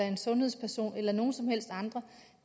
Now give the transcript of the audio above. en sundhedsperson eller nogen som helst andre